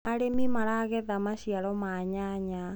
arĩmi maragetha maciaro ma nyanya